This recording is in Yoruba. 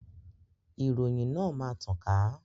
Ìròyìn náà máa tàn ká